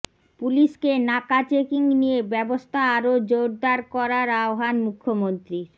পুলিশকে নাকা চেকিং নিয়ে ব্যবস্থা আরও জোড়দার করার আহ্বান মুখ্যমন্ত্রীর